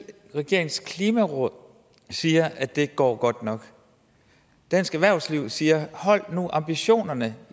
klimarådet siger at det ikke går godt nok dansk erhvervsliv siger hold nu ambitionerne